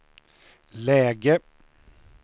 läge